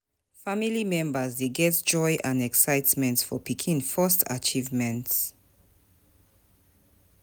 Family members dey get joy and excitement for pikin first achievements.